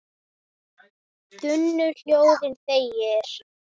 þunnu hljóði þegir